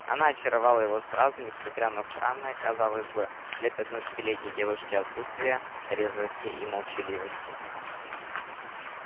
она очаровала его сразу несмотря на странное казалось бы для пятнадцатилетней девушки отсутствие резвости и молчаливости